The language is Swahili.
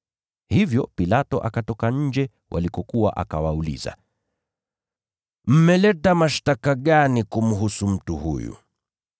Hivyo Pilato akatoka nje walikokuwa akawauliza, “Mmeleta mashtaka gani kumhusu mtu huyu?”